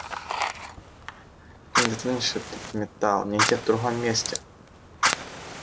ты не достанешь этот металл нигде в другом месте